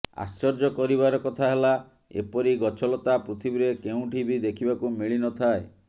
ଆଶ୍ଚର୍ଯ୍ୟ କରିବାର କଥା ହେଲା ଏପରି ଗଛଲତା ପୃଥିବୀରେ କେଉଁଠି ବି ଦେଖିବାକୁ ମିଳିନଥାଏ